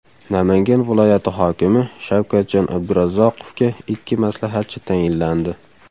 Namangan viloyati hokimi Shavkatjon Abdurazzoqovga ikki maslahatchi tayinlandi.